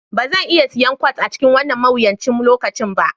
Ba zan iya siyan kwat a cikin wannan mawuyacin lokaci ba